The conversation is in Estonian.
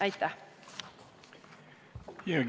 Aitäh!